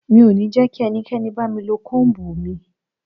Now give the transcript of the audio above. Mi ò ní jẹ́ kí ẹnikẹ́ni bá mi lo Kóm̀bù mi.